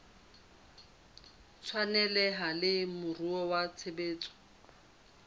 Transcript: tshwaneleha le moruo wa tshebetso